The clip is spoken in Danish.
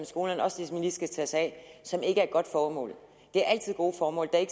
skolerne også lige skal tage sig af som ikke er et godt formål det er altid gode formål det er